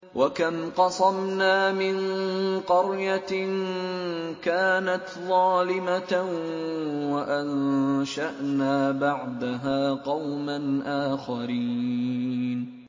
وَكَمْ قَصَمْنَا مِن قَرْيَةٍ كَانَتْ ظَالِمَةً وَأَنشَأْنَا بَعْدَهَا قَوْمًا آخَرِينَ